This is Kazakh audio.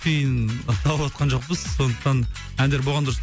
тиын алыватқан жоқпыз сондықтан әндер болған дұрыс